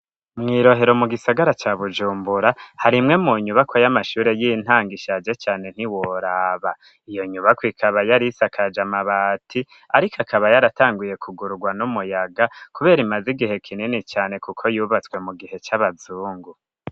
Mw'irohero mu gisagara ca Bujumbura hari imwe mu nyubakwa y'amashure y'intango ishaje cane ntiworaba . Iyo nyubakwa ikaba yari isakaje amabati ariko akaba yaratanguye kugururwa n'umuyaga kubera imaze igihe kinini cane kuko yubatswe mu gihe c'abazungu.